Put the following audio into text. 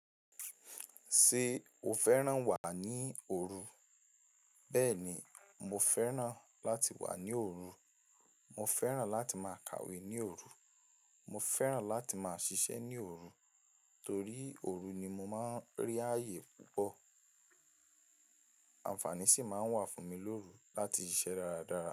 Ṣé o fẹ́ràn wà ní òru? Bẹ́ẹ̀ni, mo fẹ́ràn láti wà ní òru. Mo fẹ́ràn láti máa kàwé ní òru. Mo fẹ́ràn láti máa ṣiṣẹ́ ní òru. Torí òru ni mo máa ń rí ààyè púpọ̀. Àǹfààní sì máa ń wà fún mi lóru láti ṣiṣẹ́ dáradára.